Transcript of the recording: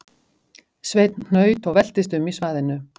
Sveinn hnaut og veltist um í svaðinu